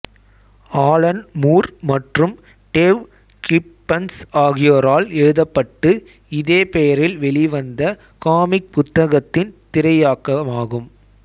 Alan Moore மற்றும் Dave Gibbons ஆகியோரால் எழுதப்பட்டு இதே பெயரில் வெளிவந்த காமிக் புத்தகத்தின் திரையாக்கமாகும்